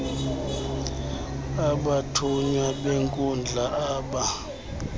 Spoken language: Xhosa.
abathunywa benkundla aba